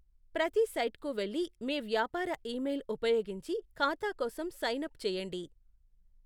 ప్రతి సైట్కు వెళ్లి మీ వ్యాపార ఇమెయిల్ ఉపయోగించి ఖాతా కోసం సైన్ అప్ చేయండి.